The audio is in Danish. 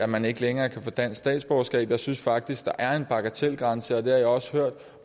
man ikke længere kan få dansk statsborgerskab jeg synes faktisk at der er en bagatelgrænse og det også hørt